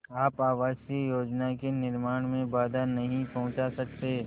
आप आवासीय योजना के निर्माण में बाधा नहीं पहुँचा सकते